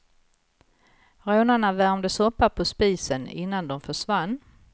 Rånarna värmde soppa på spisen, innan de försvann.